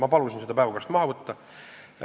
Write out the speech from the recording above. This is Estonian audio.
Ma palusin selle teema päevakorrast maha võtta.